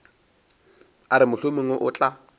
a re mohlomongwe o tla